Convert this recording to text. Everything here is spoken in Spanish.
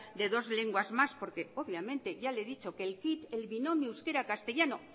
de dos lenguas más porque obviamente ya le he dicho que el binomio euskera castellano